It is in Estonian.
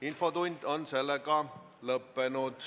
Infotund on lõppenud.